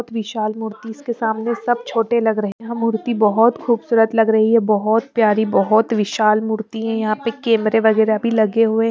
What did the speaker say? बहोत विशाल मूर्ति इसके सामने सब छोटे लग रहे है यह मूर्ति बहोत खूबसूरत लग रही है बहोत प्यारी बहोत विशाल मूर्ति है यहां पे कैमरे वगैरह भी लगे हुए--